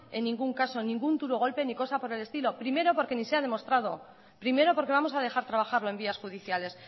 en ningún caso ningún duro golpe ni cosa por el estilo primero porque ni se ha demostrado primero porque vamos a dejar trabajarlo en vías judiciales